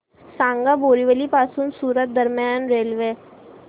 सांगा बोरिवली पासून सूरत दरम्यान रेल्वे